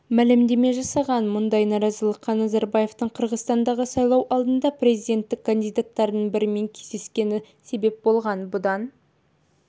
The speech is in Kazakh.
мәлімдеме жасаған мұндай наразылыққа назарбаевтың қырғызстандағы сайлау алдында президентікке кандидаттардың бірімен кездескені себеп болған бұдан